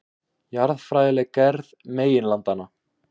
Jarðfræðileg gerð meginlandanna.